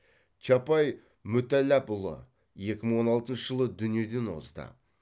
чапай мүтәллапұлы екі мың он алтыншы жылы дүниеден озды